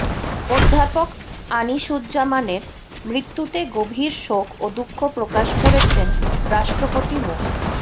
অধ্যাপক আনিসুজ্জামানের মৃত্যুতে গভীর শোক ও দুঃখ প্রকাশ করেছেন রাষ্ট্রপতি মো